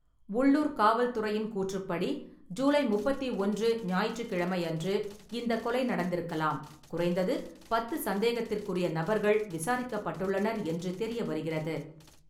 உள்ளூர் காவல்துறையின் கூற்றுப்படி, ஜூலை முப்பத்தி ஒன்று ஞாயிற்றுக்கிழமை அன்று இந்த கொலை நடந்திருக்கலாம், குறைந்தது பத்து சந்தேகத்திற்குறிய நபர்கள் விசாரிக்கப்பட்டுள்ளனர் என்று தெரியவருகிறது.